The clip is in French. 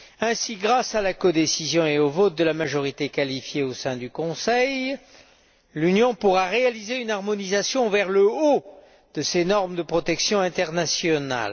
Ainsi, grâce à la codécision et au vote à la majorité qualifiée au sein du Conseil, l'Union pourra réaliser une harmonisation vers le haut de ces normes de protection internationales.